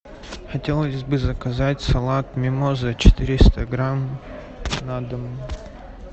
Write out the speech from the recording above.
хотелось бы заказать салат мимоза четыреста грамм на дом